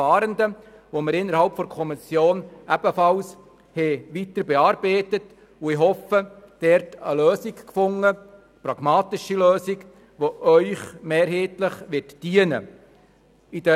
Diesen haben wir innerhalb der Kommission ebenfalls weiterbearbeitet, und ich hoffe, dort eine pragmatische Lösung gefunden zu haben, die Ihnen mehrheitlich dienen wird.